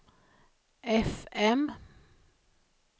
fm